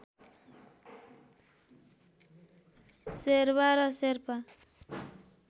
शेरवा र शेर्पा